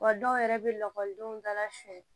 Wa dɔw yɛrɛ bɛ lakɔlidenw dala fiɲɛ